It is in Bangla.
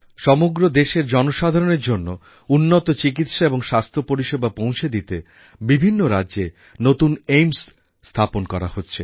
সমগ্র দেশের জনসাধারণের জন্য উন্নত চিকিৎসা এবং স্বাস্থ্যপরিষেবা পৌঁছে দিতে বিভিন্ন রাজ্যে নতুন AIIMSএর স্থাপন করা হচ্ছে